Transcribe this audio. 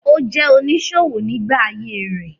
Ó jẹ́ oníṣòwò nígbà ayé rẹ̀.